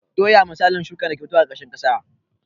Doya misali ce ta shukar da ta ke fitowa a ƙarƙashin ƙasa